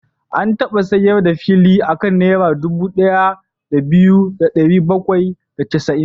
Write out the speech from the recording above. An taba sayar da fili a kan Naira dubu ɗaya da biyu da ɗari bakwai da casa'in.